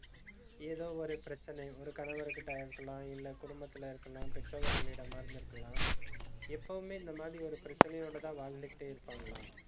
ஏதோ ஒரு பிரச்சனை ஒரு கணவர்கிட்ட இருக்கலாம் இல்ல குடும்பத்தில இருக்கலாம் பெற்றவர்களிடமா இருந்திருக்கலாம் எப்பவுமே, இந்த மாதிரி ஒரு பிரச்சனையோடதான் வாழ்ந்துகிட்டே இருப்பாங்களா